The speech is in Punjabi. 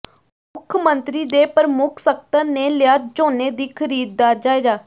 ਮੁੱਖ ਮੰਤਰੀ ਦੇ ਪ੍ਰਮੁੱਖ ਸਕੱਤਰ ਨੇ ਲਿਆ ਝੋਨੇ ਦੀ ਖ਼ਰੀਦ ਦਾ ਜਾਇਜ਼ਾ